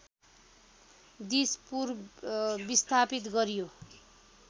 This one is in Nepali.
दिसपुर विस्थापित गरियो